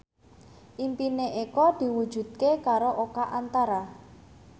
impine Eko diwujudke karo Oka Antara